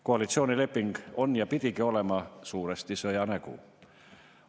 Koalitsioonileping on ja pidigi olema suuresti sõja nägu.